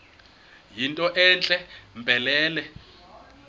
yinto entle mpelele